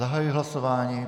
Zahajuji hlasování.